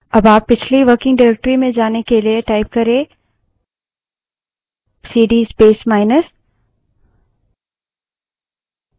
अब आप पिछली working directory में जाने के लिए prompt में सीडी space माइनस type कर सकते हैं